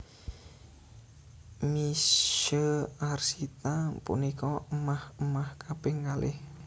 Misye Arsita punika émah émah kaping kalih